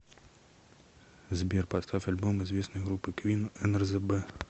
сбер поставь альбом известной группы квин нрзб